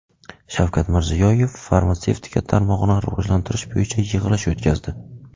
Shavkat Mirziyoyev farmatsevtika tarmog‘ini rivojlantirish bo‘yicha yig‘ilish o‘tkazdi.